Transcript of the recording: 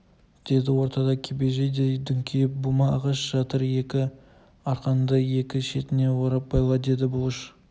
деді ортада кебежедей дүңкиіп бума ағаш жатыр екі арқанды екі шетіне орап байла деді бұлыш